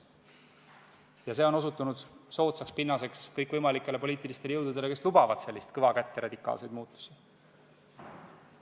Ja see on osutunud soodsaks pinnaseks kõikvõimalikele poliitilistele jõududele, kes lubavad kõva kätt ja radikaalseid muutusi.